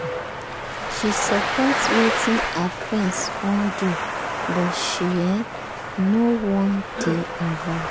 she support wetin her friend wan do but she um no wan dey involve